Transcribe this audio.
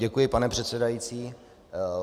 Děkuji, pane předsedající.